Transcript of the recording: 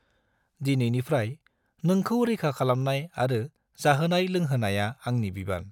दिनैनिफ्राय, नोंखौ रैखा खालामनाय आरो जाहोनाय लोंहोनाया आंनि बिबान।